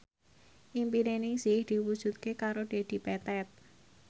impine Ningsih diwujudke karo Dedi Petet